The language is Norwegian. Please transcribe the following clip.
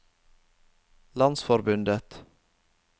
landsforbundet